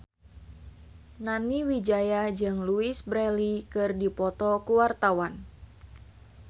Nani Wijaya jeung Louise Brealey keur dipoto ku wartawan